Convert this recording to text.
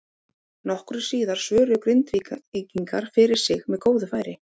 Nokkru síðar svöruðu Grindvíkingar fyrir sig með góðu færi.